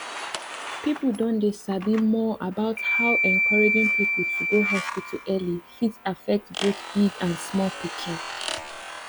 people don dey sabi more about how encouraging people to go hospital early fit affect both big people and small pikin